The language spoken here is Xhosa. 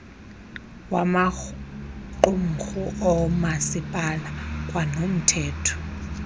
wamaqumrhu oomasipala kwanomthetho